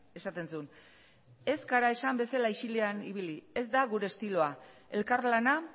esaten zuen ez gara esan bezala isilean ibili ez da gure estiloa elkarlana